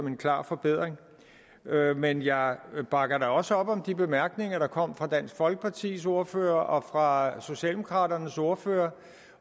en klar forbedring men jeg bakker også op om de bemærkninger der kom fra dansk folkepartis ordfører og fra socialdemokraternes ordfører